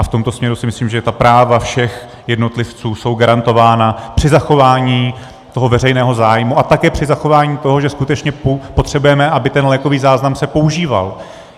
A v tomto směru si myslím, že ta práva všech jednotlivců jsou garantována při zachování toho veřejného zájmu a také při zachování toho, že skutečně potřebujeme, aby ten lékový záznam se používal.